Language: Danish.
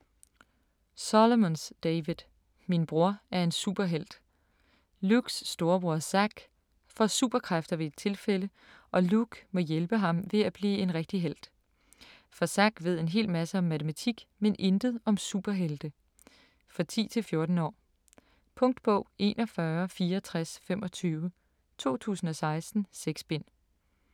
Solomons, David: Min bror er en superhelt Lukes storebror Zack får superkræfter ved et tilfælde, og Luke må hjælpe ham med at blive en rigtig helt. For Zack ved en hel masse om matematik, men intet om superhelte. For 10-14 år. Punktbog 416425 2016. 6 bind.